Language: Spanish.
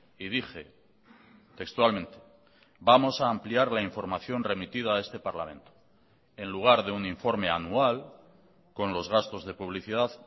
y dije textualmente vamos a ampliar la información remitida a este parlamento en lugar de un informe anual con los gastos de publicidad